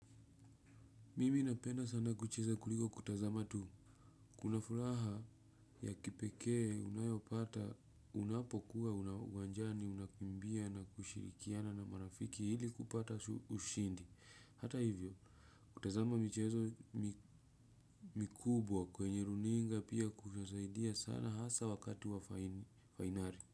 Mimi napenda sana kucheza kuliko kutazama tu. Kuna furaha ya kipekee unayopata unapokuwa uwanjani unakimbia na kushirikiana na marafiki ili kupata ushindi. Hata hivyo, kutazama michezo mikubwa kwenye runinga pia kunasaidia sana hasa wakati wa fainali.